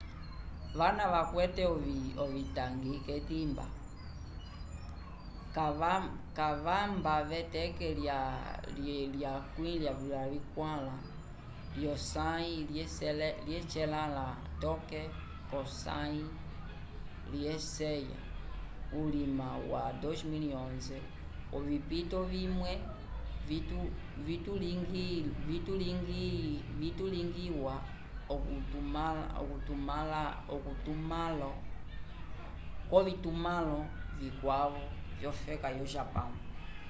vana vakwete ovitangi k'etimba vakamba v'eteke lya 24 lyosãyi lyecelãla toke k'osãyi lyeceya vulima wa 2011 ovipito vimwe vikalingiwa k'ovitumãlo vikwavo vyofeka yo japão